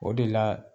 O de la